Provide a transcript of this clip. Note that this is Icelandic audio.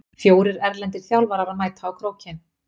Fjórir erlendir þjálfarar mæta á Krókinn